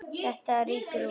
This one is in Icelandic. Þetta rýkur út.